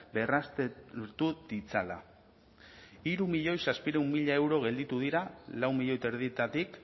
berraztertu ditzala hiru milioi zazpiehun mila euro gelditu dira lau milioi eta erdietatik